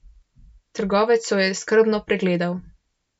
Trgovec jo je skrbno pregledal.